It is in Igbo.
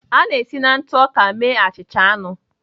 A na-esi na ntụ ọka mee achịcha anụ